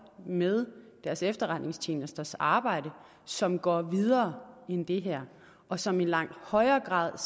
med deres efterretningstjenesters arbejde som går videre end det her og som i langt højere grad